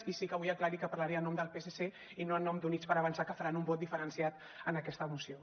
i sí que vull aclarir que parlaré en nom del psc i no en nom d’units per avançar que faran un vot diferenciat en aquesta moció